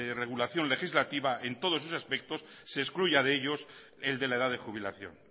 regulación legislativa en todos esos aspectos se excluya de ellos el de la edad de jubilación